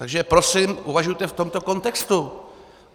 Takže prosím, uvažujte v tomto kontextu.